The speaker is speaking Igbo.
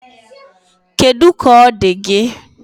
Kedụ ka ọ dị gị?